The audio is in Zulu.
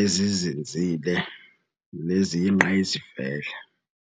ezizinzile neziyingqayizivele.